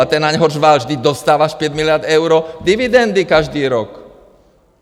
A ten na něho řval: Vždyť dostáváš pět miliard eur dividendy každý rok!